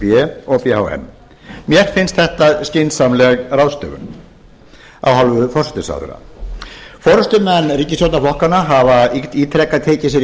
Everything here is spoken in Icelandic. b og b h m mér finnst þetta skynsamleg ráðstöfun af hálfu forsætisráðherra forustumenn ríkisstjórnarflokkanna hafa ítrekað tekið sér í